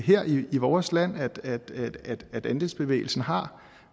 her i vores land at andelsbevægelsen har